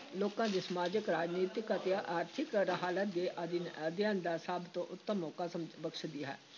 ਲੋਕਾਂ ਦੀ ਸਮਾਜਿਕ, ਰਾਜਨੀਤਿਕ ਅਤੇ ਆਰਥਿਕ ਹਾਲਤ ਦੇ ਅਧੀਨ ਅਧਿਐਨ ਦਾ ਸਭ ਤੋਂ ਉੱਤਮ ਮੌਕਾ ਸਮ ਬਖਸ਼ਦੀ ਹੈ।